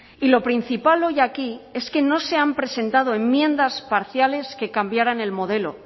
y lo principal hoy aquí es que no se han presentado enmiendas parciales que cambiaran el modelo